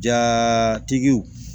Jatigiw